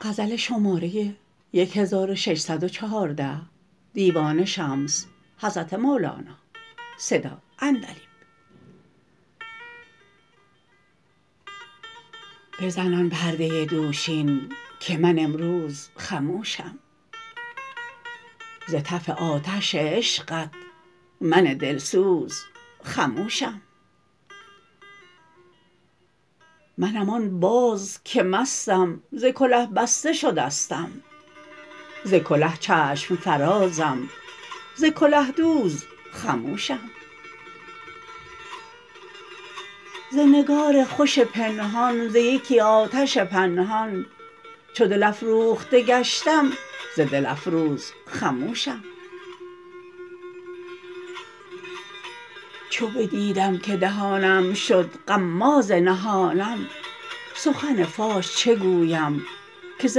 بزن آن پرده دوشین که من امروز خموشم ز تف آتش عشقت من دلسوز خموشم منم آن باز که مستم ز کله بسته شدستم ز کله چشم فرازم ز کله دوز خموشم ز نگار خوش پنهان ز یکی آتش پنهان چو دل افروخته گشتم ز دلفروز خموشم چو بدیدم که دهانم شد غماز نهانم سخن فاش چه گویم که ز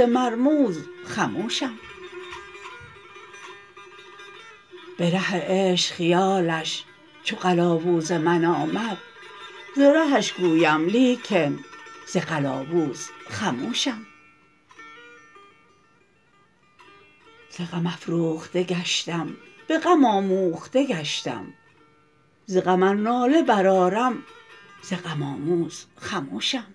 مرموز خموشم به ره عشق خیالش چو قلاووز من آمد ز رهش گویم لیکن ز قلاووز خموشم ز غم افروخته گشتم به غم آموخته گشتم ز غم ار ناله برآرم ز غم آموز خموشم